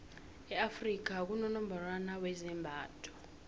e afrika kunonongorwani wezembatho